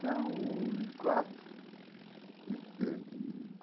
São em quatro. E que e